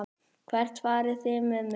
Hvert farið þið með mig?